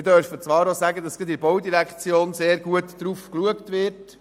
Wir dürfen zwar auch sagen, dass seitens der BVE stark darauf geachtet wird.